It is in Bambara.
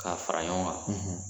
K'a fara ɲɔgɔn kan